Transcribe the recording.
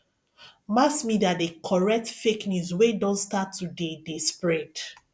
mass media de correct fake news wey don start to de de spread